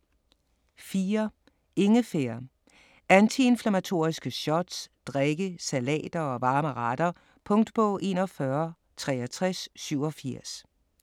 4. Ingefær: antiinflammatoriske shots, drikke, salater & varme retter Punktbog 416387